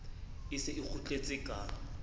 e se e kgutletse ka